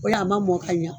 O la a ma mɔ ka ɲa